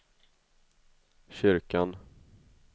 kyrkan